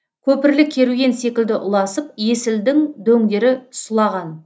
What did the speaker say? көпірлі керуен секілді ұласып есілдің дөңдері сұлаған